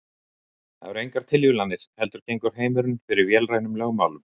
Það eru engar tilviljanir heldur gengur heimurinn fyrir vélrænum lögmálum.